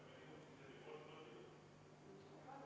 Juhtivkomisjoni ettepanek on jätta arvestamata.